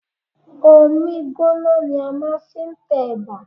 Omí gbọ́na ni a máà ń fi n tẹ̀bà.